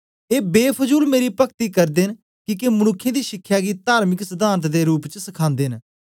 ए बेफजूल मेरी पगती करदे न किके मनुक्खें दी शिखया गी तार्मिक सधान्त दे रूप च सखान्दे न